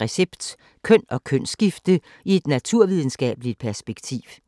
Recept: Køn og kønsskifte i et naturvidenskabeligt perspektiv *